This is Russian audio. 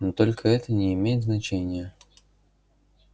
но только это не имеет значения